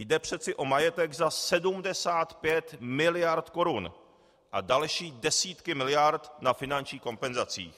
Jde přece o majetek za 75 miliard korun a další desítky miliard na finančních kompenzacích.